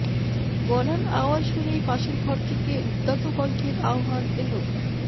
গলার আওয়াজ শুনেই পাশের ঘর থেকে উদাত্ত কণ্ঠের আহ্বান এল